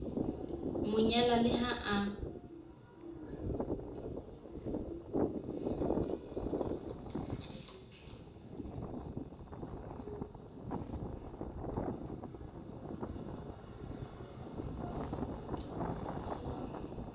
mo nyala le ha a